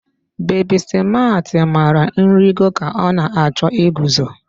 Bebi Smaat mara nrịgo ka ọ na-achọ iguzo